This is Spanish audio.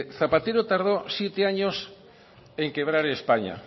mire zapatero tardó siete años en quebrar españa